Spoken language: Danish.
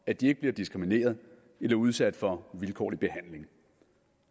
at de ikke bliver diskrimineret eller udsat for vilkårlig behandling